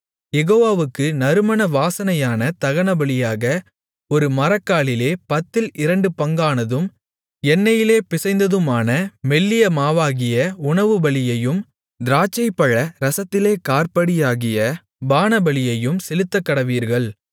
யெகோவாவுக்கு நறுமண வாசனையான தகனபலியாக ஒரு மரக்காலிலே பத்தில் இரண்டு பங்கானதும் எண்ணெயிலே பிசைந்ததுமான மெல்லிய மாவாகிய உணவுபலியையும் திராட்சைப்பழ ரசத்திலே காற்படியாகிய பானபலியையும் செலுத்தக்கடவீர்கள்